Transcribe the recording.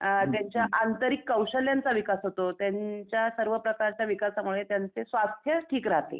अ त्यांच्या आंतरिक कौशल्यांचा विकास होतो. त्यांच्या सर्व प्रकारच्या विकासामुळे त्यांचे स्वास्थ्य ठीक राहते.